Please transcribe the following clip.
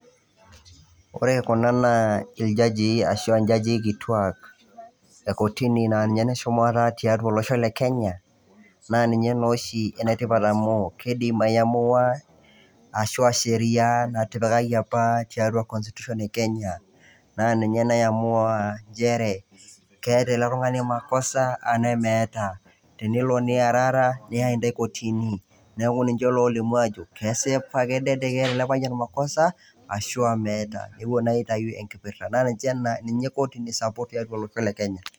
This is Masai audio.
Ore kuna naa iljajii ashu enjajii kituak e kotini naa ninye ene shumata tiatua olosho le kenya, naa ninye naa oshi ene tipat amu keidim aiamua ashu a sheria natipikaki apa tiatua constitution e Kenya naa ninye naiamua njere keeta ele tung'ani makosa anaye meeata, tenelo niarara neyai intai kotini. Neeku ninje lolimu ajo kesipa kedede keeta ele payian makosa ashu a meeta, nepuo naa aitayu enkipirta ninye kotini sapuk tiatua olosho le kenya.